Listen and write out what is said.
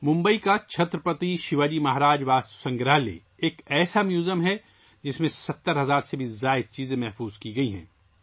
ممبئی کا چھترپتی شیواجی مہاراج واستو سنگرہالیہ ایسا میوزیم ہے، جس میں 70 ہزار سے زیادہ چیزیں محفوظ کی گئی ہیں